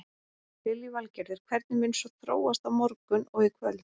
Lillý Valgerður: Hvernig mun svo þróast á morgun og í kvöld?